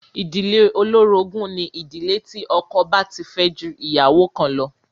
Ìdílé olórogún ni ìdílé tí ọkọ bá ti fẹ́ ju ìyàwó kan lọ.